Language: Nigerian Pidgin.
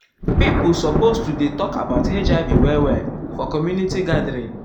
people supposed to dey talk about hiv well well for community gathering.